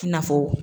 I na fɔ